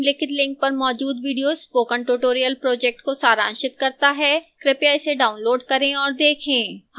निम्नलिखित link पर मौजूद video spoken tutorial project को सारांशित करता है कृपया इसे डाउनलोड करें और देखें